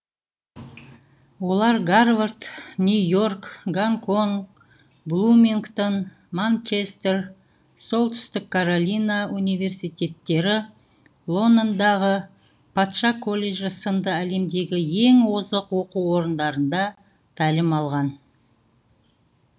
олар гарвард нью и орк гонконг блумингтон манчестер солтүстік каролина университеттері лондондағы патша колледжі сынды әлемдегі ең озық оқу орындарында тәлім алған